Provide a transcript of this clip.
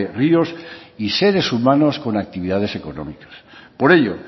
ríos y seres humanos con actividades económicas por ello